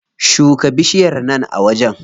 Shuka bishiyar nan a wajen.